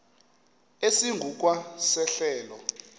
esingu kwa sehlelo